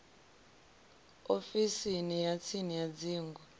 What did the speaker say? ofisini ya tsini ya dzingu